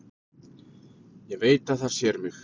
Ég veit að það sér mig.